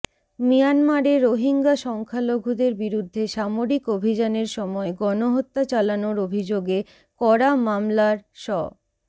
মিয়ানমারে রোহিঙ্গা সংখ্যালঘুদের বিরুদ্ধে সামরিক অভিযানের সময় গণহত্যা চালানোর অভিযোগে করা মামলার শ